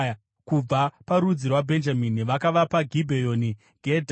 Kubva parudzi rwaBhenjamini, vakavapa Gibheoni, Gebha,